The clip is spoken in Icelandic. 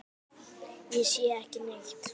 Ég sé ekki neitt.